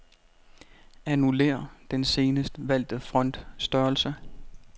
Annullér den senest valgte font-størrelse.